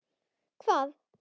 SOPHUS: Hvað?